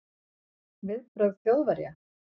Viðbrögð Þjóðverja